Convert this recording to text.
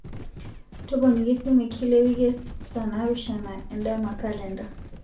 toponiki esimu e kila ewiki saa naapishana endama kalenda